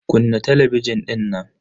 Kunna talabijin dinnan.